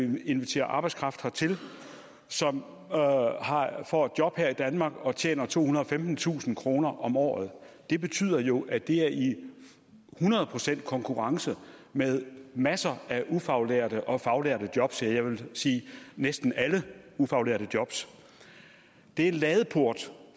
vil invitere arbejdskraft hertil som får et job her i danmark og tjener tohundrede og femtentusind kroner om året det betyder jo at det er i hundrede procent konkurrence med masser af ufaglærte og faglærte job ja jeg vil sige næsten alle ufaglærte jobs det er en ladeport